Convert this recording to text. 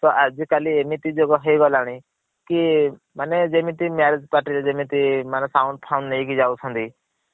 ତ ଆଜି କାଲି ଏମିତି ଯୋଗ ହେଇ ଗଲା ଣୀ କି ମାନେ ଯେମିତି marriage party ରେ ଯେମିତି ମାନେ sound ଫାଉଣ୍ଡ୍ ନେଇକି ଯାଉଛନ୍ତି